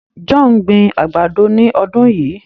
John n gbìn àgbádọ̀ ní ọdún yíí.